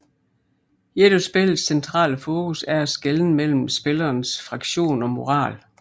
Et af spillets centrale fokus er at skelne mellem spillerens fraktion og moral